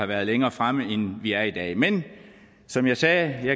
været længere fremme end vi er i dag men som jeg sagde